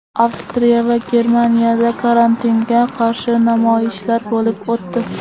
Avstriya va Germaniyada karantinga qarshi namoyishlar bo‘lib o‘tdi .